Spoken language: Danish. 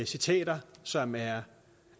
citater som er